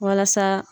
Walasa